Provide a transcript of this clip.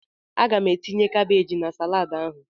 Aga m etinye kabaj na salaadi ahụ.